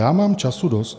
Já mám času dost.